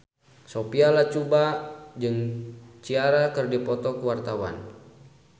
Sophia Latjuba jeung Ciara keur dipoto ku wartawan